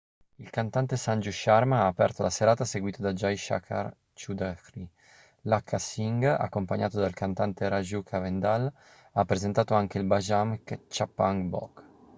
il cantante sanju sharma ha aperto la serata seguito da jai shankar choudhary lakkha singh accompagnato dal cantante raju khandelwal ha presentato anche il bhajan chhappan bhog